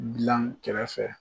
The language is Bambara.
Bila n kɛrɛfɛ